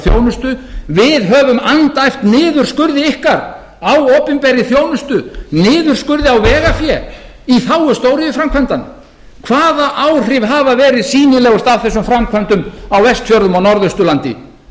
þjónustu við höfum andæft niðurskurði ykkar á opinberri þjónustu niðurskurði á vegafé í þágu stóriðjuframkvæmdanna hvaða áhrif hafa verið sýnilegust af þessum framkvæmdum á vestfjörðum og norðausturlandi